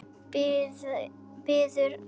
Biður hann að hjálpa sér.